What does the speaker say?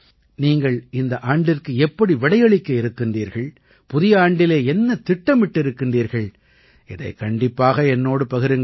நீங்கள் இந்த ஆண்டிற்கு எப்படி விடையளிக்க இருக்கிறீர்கள் புதிய ஆண்டிலே என்ன திட்டமிட்டிருக்கிறீர்கள் இதைக் கண்டிப்பாக என்னோடு பகிருங்கள்